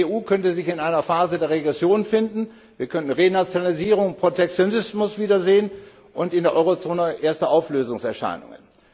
Die EU könnte sich in einer Phase der Regression finden, wir könnten Renationalisierung und Protektionismus wiedersehen und in der Eurozone erste Auflösungserscheinungen.